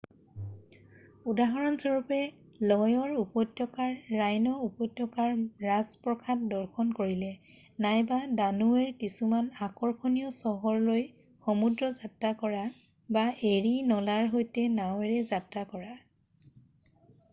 উদাহৰণস্বৰূপে ল'য়ৰ উপত্যকাৰ ৰাইন উপত্যকাৰ ৰাজপ্ৰসাদ দৰ্শন কৰিলে নাইবা দানোৱেৰ কিছুমান আকৰ্ষণীয় চহৰলৈ সমুদ্ৰ যাত্ৰা কৰা বা এৰি নলাৰ সৈতে নাৱেৰে যাত্ৰা কৰা